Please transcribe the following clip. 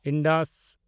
Indus